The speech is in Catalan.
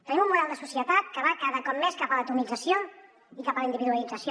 tenim un model de societat que va cada cop més cap a l’atomització i cap a la individualització